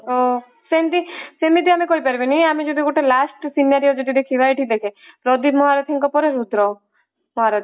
ନା ତ ସେମିତି ସେମିତି ଆମେ କହି ପାରିବାନି ଆମେ ଯଦି ଗୋଟେ last scenario ଯଦି ଦେଖିବା ଏଠି ଦେଖେ ପ୍ରଦୀପ ମହାରଥୀଙ୍କ ପରେ ରୁଦ୍ର ମହାରଥୀ